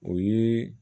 O ye